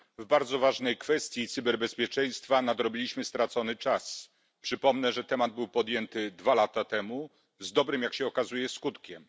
Pani Przewodnicząca! W bardzo ważnej kwestii cyberbezpieczeństwa nadrobiliśmy stracony czas. Przypomnę, że temat był podjęty dwa lata temu z dobrym, jak się okazuje, skutkiem.